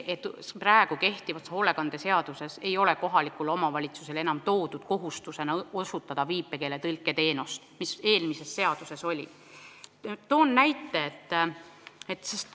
Praegu ei ole selles sätestatud kohaliku omavalitsuse kohustust osutada viipekeeletõlke teenust, mis eelmises redaktsioonis oli.